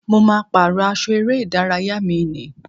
Mo ma pàrọ́ aṣọ eré ìdárayá mi ní.